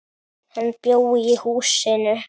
Hann bjó í húsinu.